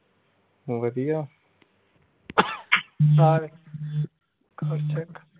ਵਧੀਆ।